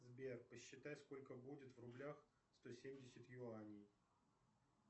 сбер посчитай сколько будет в рублях сто семьдесят юаней